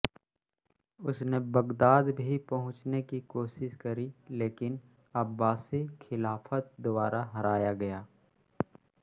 उसने बग़दाद भी पहुँचने की कोशिश करी लेकिन अब्बासी ख़िलाफ़त द्वारा हराया गया